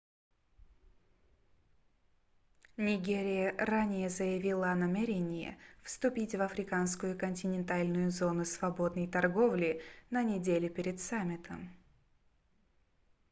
нигерия ранее заявила о намерении вступить в африканскую континентальную зону свободной торговли на неделе перед саммитом